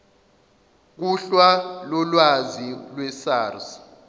kuhla lolwazi lwesars